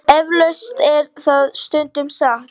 Eflaust er það stundum satt.